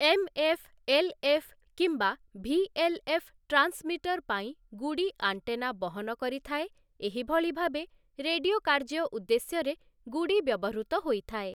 MF, LF କିମ୍ବା VLF transmitter ପାଇଁ ଗୁଡ଼ି ଆଣ୍ଟେନା ବହନ କରିଥାଏ, ଏହି ଭଳି ଭାବେ ରେଡିଓ କାର୍ଯ୍ୟ ଉଦ୍ଦେଶ୍ୟରେ ଗୁଡ଼ି ବ୍ୟବହୃତ ହୋଇଥାଏ ।